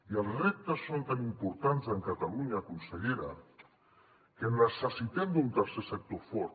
i els reptes són tan importants a catalunya consellera que necessitem un tercer sector fort